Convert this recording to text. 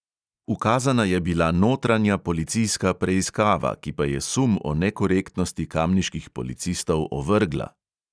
Ukazana je bila notranja policijska preiskava, ki pa je sum o nekorektnosti kamniških policistov ovrgla.